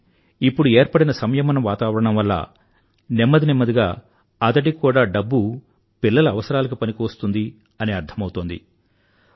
కానీ ఇప్పుడు ఏర్పడిన సంయమన వాతావరణం వల్ల నెమ్మది నెమ్మదిగా అతడికి కూడా డబ్బు పిల్లల అవసరలకు పనికివస్తుందని అర్థమౌతోంది